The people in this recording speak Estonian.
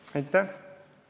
Aitäh!